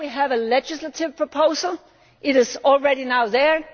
Here we have a legislative proposal, it is already there